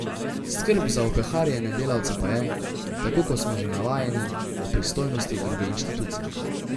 Skrb za opeharjene delavce pa je, tako kot smo že navajeni, v pristojnosti druge inštitucije.